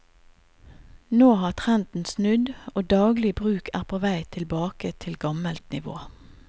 Nå har trenden snudd og daglig bruk er på vei tilbake til gammelt nivå.